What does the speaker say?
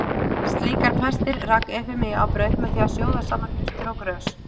Slíkar pestir rak Efemía á braut með því að sjóða saman jurtir og grös.